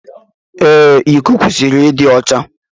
Ee, iko kwesịrị ịdị ọcha